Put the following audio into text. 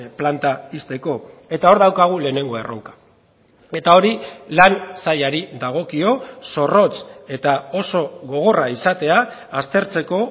planta ixteko eta hor daukagu lehenengo erronka eta hori lan sailari dagokio zorrotz eta oso gogorra izatea aztertzeko